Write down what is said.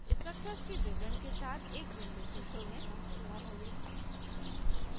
structure के विवरण के साथ एक window खुलती है